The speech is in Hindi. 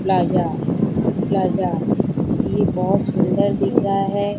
प्लाजा प्लाजा ये बहोत सुंदर दिख रहा है।